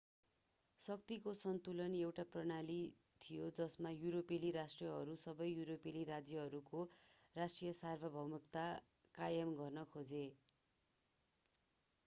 शक्तिको सन्तुलन एउटा प्रणाली थियो जसमा युरोपेली राष्ट्रहरूले सबै युरोपेली राज्यहरूको राष्ट्रिय सार्वभौमिकता कायम गर्न खोजे